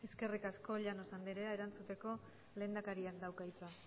eskerrik asko llanos andrea erantzuteko lehendakariak dauka hitza